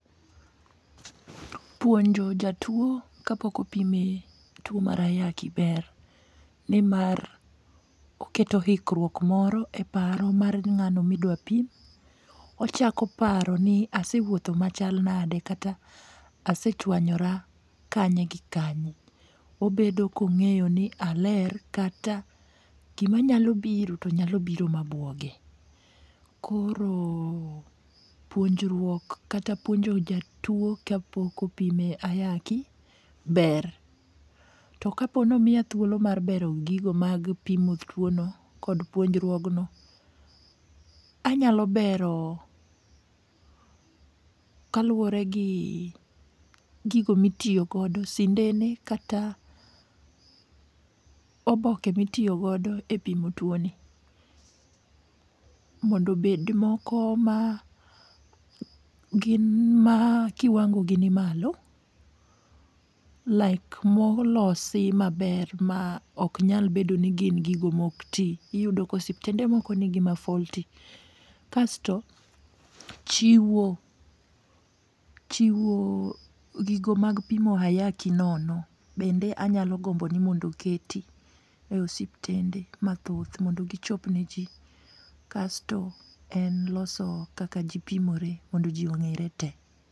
Puonjo jatuo kapok opime tuo mar ayaki ber, ni mar oketo hikruok moro e paro mar ng'ano ma idwa pim, ochako paro ni asewutho machalnade kata asechuonyora kanye gi kanye, obedo kong'eyo ni aler kata gimanyalo biro to nyalo biro mabuoge, koro puonjruok kata puonjo jatuo ka pok opime ayaki ber, to ka po no miya thuolo mar bero gigo mag pimo tuono kod puonjruogno, anyalo bero kaluore gi gigo mitiyogodo sindene kata oboke mitiyo godo e pimo tuoni mondo obed moko ma gin ma kiwangogi ni malo, like molosi maber ma oknyal bedo ni gin gigo mok ti, iyudo ka ospitende moko nigi ma faulty, kasto chiwo chiwo gigo mag pimo ayaki nono bende anyalo gombo ni mondo oketi e osiptende mathoth mondo gichop ne ji kasto en loso kaka jipimore mondo ji onge're te.